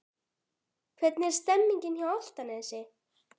Hvernig er stemningin hjá Álftanesi?